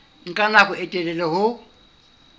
nka nako e telele ho